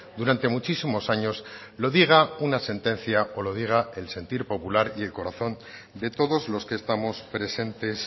durante muchísimos años lo diga una sentencia o lo diga el sentir popular y el corazón de todos los que estamos presentes